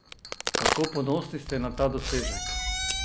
Kako ponosni ste na ta dosežek?